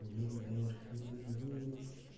ни вверх ни вниз